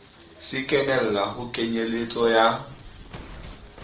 se kenella ho kenyeletso ya